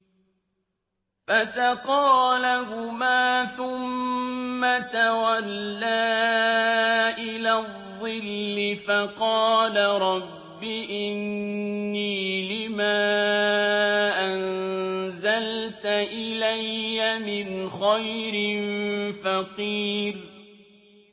فَسَقَىٰ لَهُمَا ثُمَّ تَوَلَّىٰ إِلَى الظِّلِّ فَقَالَ رَبِّ إِنِّي لِمَا أَنزَلْتَ إِلَيَّ مِنْ خَيْرٍ فَقِيرٌ